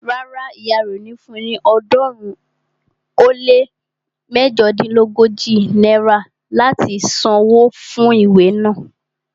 Rárá, ìyá rẹ ò ní fun ní ọ̀ọ́dúnrún ó lé méjodínlógójì náírà láti san wó fún ìwé naa